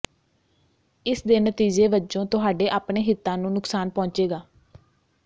ਇਸਦੇ ਨਤੀਜੇ ਵਜੋਂ ਤੁਹਾਡੇ ਆਪਣੇ ਹਿਤਾਂ ਨੂੰ ਨੁਕਸਾਨ ਪਹੁੰਚੇਗਾ